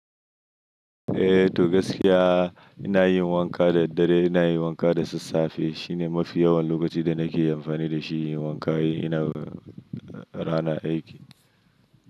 Eh, to gaskiya ina yin wanka da daddare, ina yin wanka da sassafe. Shine mafi yawan lokaci da nake amfani da shi inyi wanka in ina rana aiki.